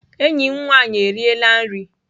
Enyi m nwaanyị eriela nri.